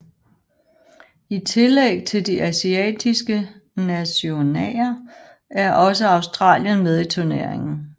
I tillæg til de asiatiske nationaer er også Australien med i turneringen